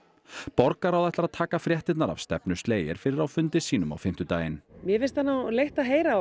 borgarráð ætlar að taka fréttirnar af stefnu Slayer fyrir á fundi sínum á fimmtudaginn mér finnst leitt að heyra